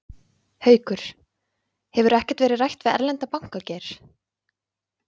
Haukur: Hefur ekkert verið rætt við erlenda banka, Geir?